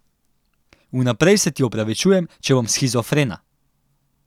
Vnaprej se ti opravičujem, če bom shizofrena.